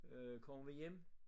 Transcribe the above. Øh kommer vi hjem